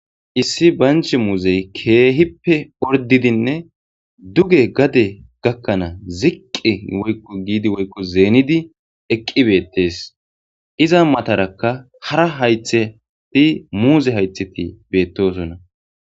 issi banch muuzey keehippe ordidinne duge gade gakkanaa ziqqi woykko giidi woykko zeenidi eqqi beettes iza matarakka hara haytheti muuze haytheti beettosona